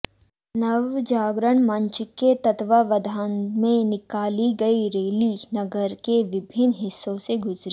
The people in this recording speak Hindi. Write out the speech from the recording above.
नव जागरण मंच के तत्वावधान में निकाली गई रैली नगर के विभिन्न हिस्सों से गुजरी